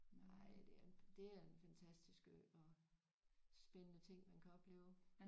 Nej det er det er en fantastisk ø og spændende ting man kan opleve